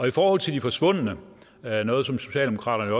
i forhold til de forsvundne noget noget som socialdemokraterne